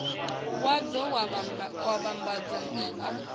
wadzo wa u vhambadza a